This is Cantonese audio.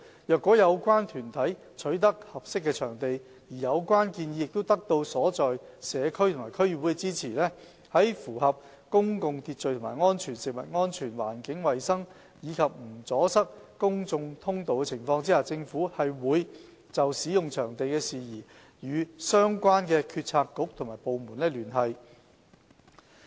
若有關團體取得合適的場地，而有關建議得到所在社區及區議會支持，在符合公共秩序和安全、食物安全、環境衞生及不阻塞公眾通道的情況下，政府會就使用場地事宜與相關政策局及部門聯繫。